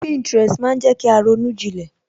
Pinterest maa jẹ kí a ronú jilẹ̀